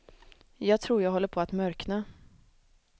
Jag tror att jag håller på att mörkna.